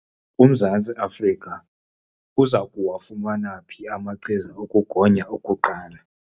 UMzantsi Afrika uza kuwafumana phi amachiza okugonya okuqala?